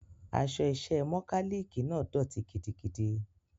Aṣọ iṣẹ́ mọkálíìkì náà dọ̀tí gidigidi.